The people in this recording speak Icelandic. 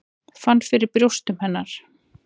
Fann fyrir brjóstum hennar.